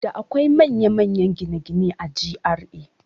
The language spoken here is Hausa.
Da akwai manya manyan gine-gine a GRA